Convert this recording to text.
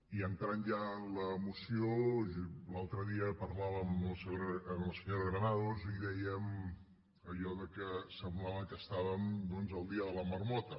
i entrant ja en la moció l’altre dia parlàvem amb la senyora granados i dèiem allò que semblava que estàvem doncs al dia de la marmota